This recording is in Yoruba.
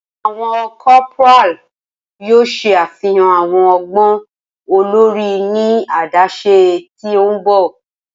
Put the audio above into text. Awọn corporal yoo ṣe afihan awọn ọgbọn olori ni adaṣe ti n bọ.